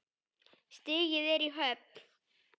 Stigið er í höfn!